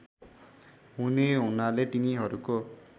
हुने हुनाले तिनीहरूको